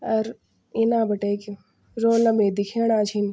अर इना बैठक रौला बि देख्येणा छिन।